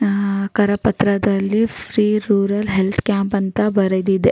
ಅಹ್ ಕರ ಪತ್ರದಲ್ಲಿ free rural health camp ಅಂತ ಬರೆದಿದೆ.